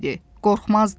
Qorxmazdı.